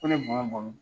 Ko ne bamuso bamu